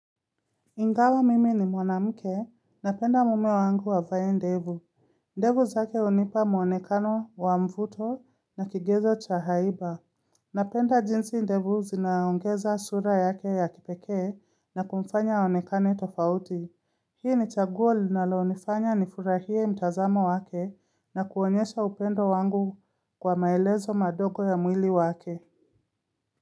Ingawa mimi ni mwanamke, napenda mume wangu avae ndevu. Ndevu zake hiunipa mwonekano wa mvuto na kigezo cha haiba. Napenda jinsi ndevu zinaongeza sura yake ya kipekee na kumfanya onekane tofauti. Hii ni chaguo linaloonifanya nifurahie mtazamo wake na kuonyesha upendo wangu kwa maelezo madogo ya mwili wake.